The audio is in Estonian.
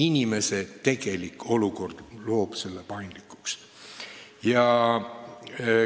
Palju hakkab sõltuma inimese tegelikust olukorrast.